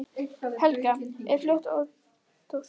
Helga: Er fólk óttaslegið?